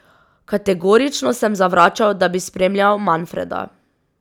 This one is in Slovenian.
Kategorično sem zavračal, da bi spremljal Manfreda.